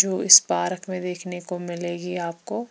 जो इस पारक में देखने को मिलेगी आपको--